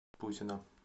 пузина